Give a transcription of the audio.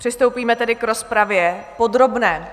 Přistoupíme tedy k rozpravě podrobné.